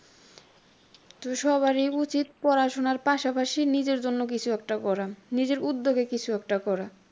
তো সবারই উচিত পড়াশুনার পাশাপাশি নিজের জন্য কিছু একটা করা। নিজের উদ্যোগে কিছু একটা করা।